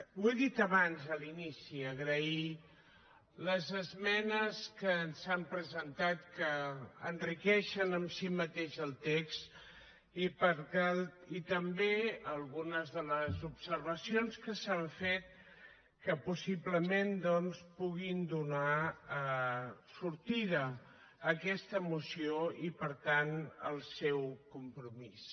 ho he dit abans a l’inici agrair les esmenes que s’han presentat que enriqueixen en si mateix el text i també algunes de les observacions que s’han fet que possiblement doncs puguin donar sortida a aquesta moció i per tant al seu compromís